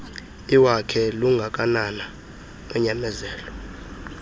iwakhe lungakanana nonyamezelo